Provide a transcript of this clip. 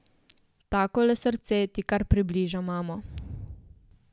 Takole srce ti kar približa mamo.